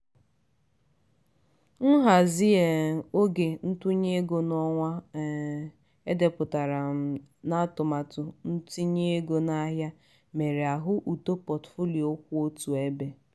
nhazi um oge ntụnye ego n'ọnwa um e depụtara um n'atụmatụ ntinye ego n'ahịa mere a hụ uto potfolio kwụ otu ebe.